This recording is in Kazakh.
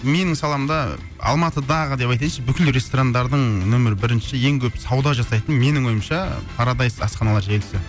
менің саламда алматыдағы деп айтайыншы бүкіл ресторандардың нөмір бірінші ең көп сауда жасайтын менің ойымша парадайс асханалар желісі